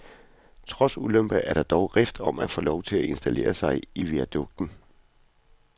Trods ulemper er der dog rift om at få lov at installere sig i viadukten.